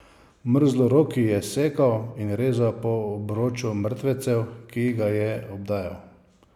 Mrzloroki je sekal in rezal po obroču mrtvecev, ki ga je obdajal.